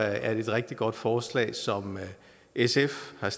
er det et rigtig godt forslag som sf har